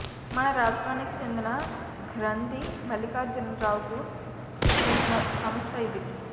మన రాష్ట్రానికి చెందిన గ్రంధి మల్లికార్జున రావుకు చెందిన సంస్థ ఇది